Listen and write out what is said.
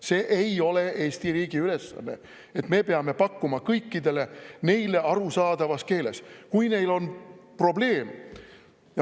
See ei ole Eesti riigi ülesanne, et me peame pakkuma kõikidele neile arusaadavas keeles.